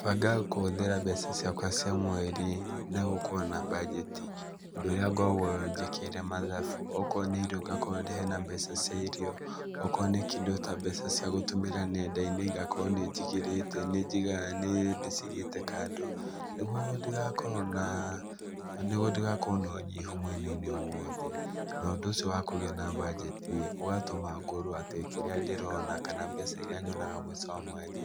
Bangaga kũhũthĩra mbeca ciakwa cia mweri na gũkorwo na mbajeti, ũndũ ũrĩa ngoragwo njĩkĩire mathabu. O korwo nĩ irio ngakorwo hena mbeca cia irio, o korwo nĩ kĩndũ ta mbeca cia gũtũmĩra neenda-inĩ ngakorwo nĩnjigĩrĩte nĩnjigaa nĩĩ ndĩciigĩĩte kando, nĩgũo ndigakorwo naa nĩgũo ndigakorwo na ũnyihu mwenainĩ o wothe. Na ũndũ ũcio wa kũgĩa na bajeti ĩ, ũgatũma ngorwo atĩ kĩrĩa ndĩrona kana mbeca iria nyonaga mũico wa mweri